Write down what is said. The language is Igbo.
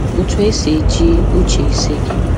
Otu esi eji uche ise gị